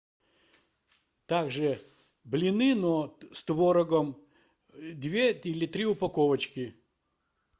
также блины но с творогом две или три упаковочки